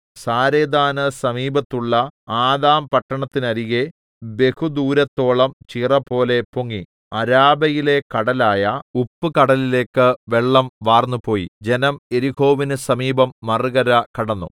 സാരെഥാന് സമീപത്തുള്ള ആദാംപട്ടണത്തിന്നരികെ ബഹുദൂരത്തോളം ചിറപോലെ പൊങ്ങി അരാബയിലെ കടലായ ഉപ്പുകടലിലേക്ക് വെള്ളം വാർന്നുപോയി ജനം യെരിഹോവിന് സമീപം മറുകര കടന്നു